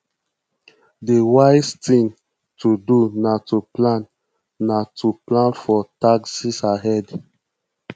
di wise thing to do na to plan na to plan for taxes ahead